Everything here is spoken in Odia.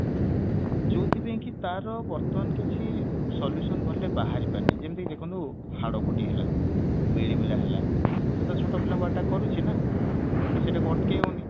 ଯୋଉଥି ପାଇଁ କି ତାର ବର୍ତ୍ତମାନ କିଛି solution ଭଲରେ ବାହାରି ପାରିନି ଯେମିତି ଦେଖନ୍ତୁ ହାଡଫୁଟି ହେଲା ମିଳିମିଳା ହେଲା ସେଇଟା ଛୋଟ ପିଲାଙ୍କୁ attack କରୁଛି ନା ତ ସେଇଟା କୁ ଅଟକେଇ ହଉନି